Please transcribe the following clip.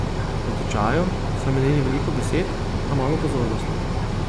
Natečaju so namenili veliko besed, a malo pozornosti.